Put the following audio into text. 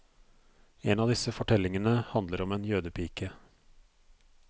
En av disse fortellingene handler om en jødepike.